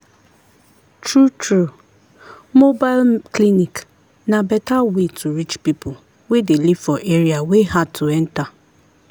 true true mobile clinic na better way to reach people wey dey live for area wey hard to enter.